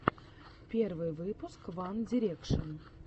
первый выпуск ван дирекшен